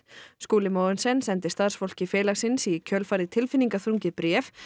Skúli Mogensen sendi starfsfólki félagsins í kjölfarið tilfinningaþrungið bréf